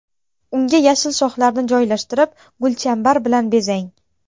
Unga yashil shoxlarni joylashtirib, gulchambar bilan bezang.